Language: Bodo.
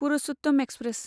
पुरुषोत्तम एक्सप्रेस